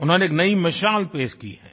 उन्होंने एक नई मिसाल पेश की है